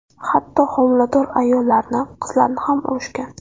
Hatto homilador ayollarni, qizlarni ham urishgan.